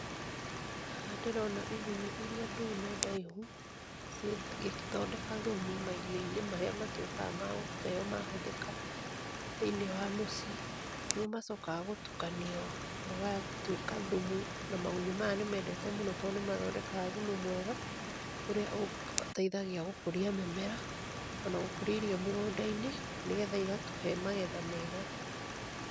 Haha ndĩrona igunyũ irĩa ndune ndaihu cigĩthondeka thumu mairio-inĩ marĩa matuĩkaga magũteyo mahũthĩka thĩiniĩ wa mũciĩ, nĩmomacokaga gũtukanio magatuĩka thumu. Magunyo maya nĩmendete mũno tondũ nĩmathondekaga thumu mwega ũrĩa ũteithagia gũkũria mĩmera ona gũkũria irio mĩgũnda-inĩ nĩgetha igatũhe magetha mega.